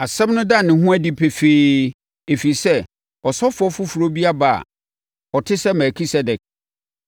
Asɛm no da ne ho adi pefee, ɛfiri sɛ, ɔsɔfoɔ foforɔ bi aba a ɔte sɛ Melkisedek.